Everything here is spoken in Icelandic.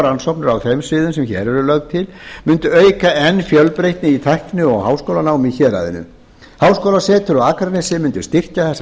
rannsóknir á þeim sviðum sem hér eru lögð til mundi auka enn fjölbreytni í tækni og háskólanámi í héraðinu háskólasetur á akranesi mundi styrkja þessa